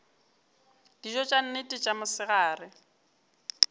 dijo tša nnete tša mosegare